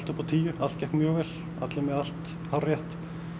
upp á tíu allt gekk mjög vel allir með allt hárrétt